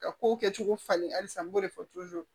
Ka kow kɛcogo falen halisa n b'o de fɔ